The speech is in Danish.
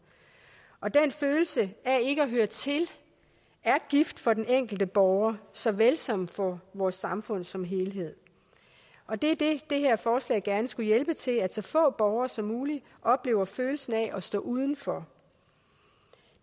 og den følelse af ikke at høre til er gift for den enkelte borger såvel som for vores samfund som helhed og det er det det her forslag gerne skulle hjælpe med til at så få borgere som muligt oplever følelsen af at stå udenfor